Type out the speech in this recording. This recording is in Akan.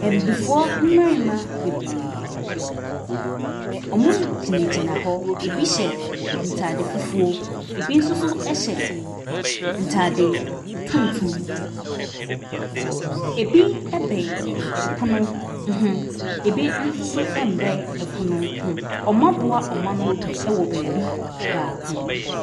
Abibifoɔ mmarima bebiree. Wɔgyinagyina hɔ. ebi hyɛ ntaade fufuo, ebi nso so hyɛ ntaade tuntum. Ebi bɛn ɛpono hue bi nso so mmɛn ɛpono ho. Wɔaboa wɔn ano wɔ baabi baako.